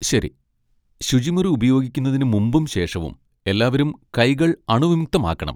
ശരി! ശുചിമുറി ഉപയോഗിക്കുന്നതിന് മുമ്പും ശേഷവും എല്ലാവരും കൈകൾ അണുവിമുക്തമാക്കണം.